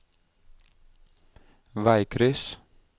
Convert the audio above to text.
veikryss